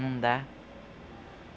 Não dá.